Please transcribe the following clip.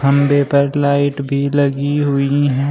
खंभे पर लाइट भी लगी हुई हैं।